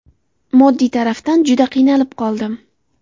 Moddiy tarafdan juda qiynalib qoldim.